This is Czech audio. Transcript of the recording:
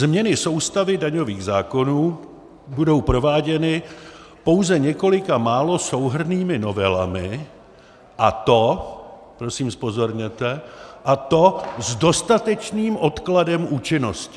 Změny soustavy daňových zákonů budou prováděny pouze několika málo souhrnnými novelami, a to" - prosím zpozorněte - "a to s dostatečným odkladem účinnosti."